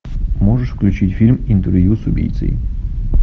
можешь включить фильм интервью с убийцей